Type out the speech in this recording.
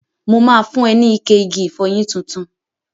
Mo ma fun ẹ ní ike igi ìfọyín tuntun.